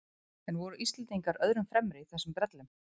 En voru Íslendingar öðrum fremri í þessum brellum?